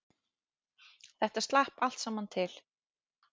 Þetta slapp allt saman til